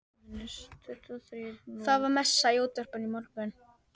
Það var messa í útvarpinu í morgun.